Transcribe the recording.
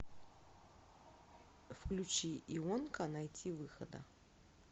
включи ионка найтивыхода